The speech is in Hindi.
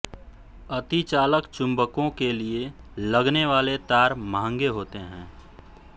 अतिचालक चुम्बकों के लिए लगने वाले तार मंहंगे होते हैं